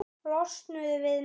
Losnuðu við mig!